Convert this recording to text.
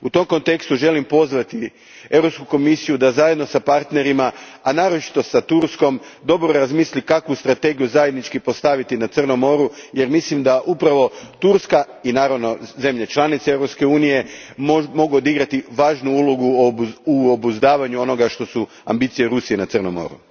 U tom kontekstu želim pozvati Europsku komisiju da zajedno s partnerima, a naročito s Turskom, dobro razmisli kakvu strategiju zajednički postaviti za Crno more, jer mislim da upravo Turska i, naravno, zemlje članice Europske unije mogu odigrati važnu ulogu u obuzdavanju onoga što su ambicije Rusije na Crnom moru.